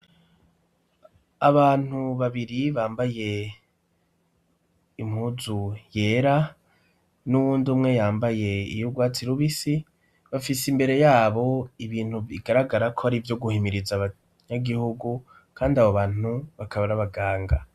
Abantu babiri bambaye impuzu yera n'uwundi umwe yambaye iyisa n'urwatsi rubisi, bafise imbere yabo ibintu bigaragara ko ari ivyo guhimiriza abanyagihugu. Kandi abo bantu bakaba ari abaganga.